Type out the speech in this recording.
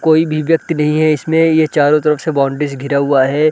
कोई भी व्यक्ति नहीं है इसमें ये चारों तरफ से बाउंड्री से घिरा हुआ है ।